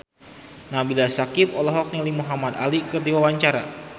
Nabila Syakieb olohok ningali Muhamad Ali keur diwawancara